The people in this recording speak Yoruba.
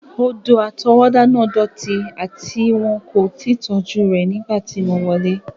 Odò-àtọwọ́dá náà dọti ati won ko ti tọju nígbà rẹ ti mo wọlẹ́.